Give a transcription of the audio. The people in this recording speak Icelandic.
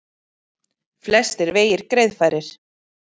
Flestir vegir greiðfærir